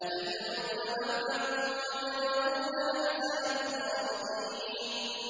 أَتَدْعُونَ بَعْلًا وَتَذَرُونَ أَحْسَنَ الْخَالِقِينَ